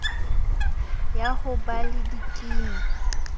ya ho ba le dikimi